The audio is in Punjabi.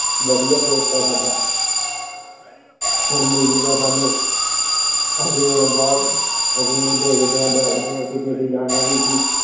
ਵਧੀਆ ਦੋਸਤ ਐ ਸਾਡਾ। ਹੁਣ ਮਿਲੂਗਾ ਸਾਂਨੂੰ ਅਸੀਂ ਹੁਣ ਬਹੁਤ ਅਸੀਂ ਹੁਣ ਦੇਖਦੇ ਆ ਬੈਠਦੇ ਆ ਕਿੱਤੇ ਅਸੀਂ ਜਾਣਾ ਵੀ ਸੀ।